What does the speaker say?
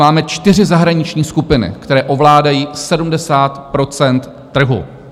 Máme čtyři zahraniční skupiny, které ovládají 70 % trhu.